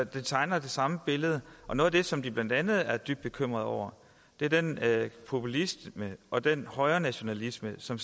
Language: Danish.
det tegner det samme billede og noget af det som de blandt andet er dybt bekymret over er den populisme og den højrenationalisme som